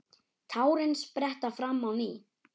Tárin spretta fram á ný.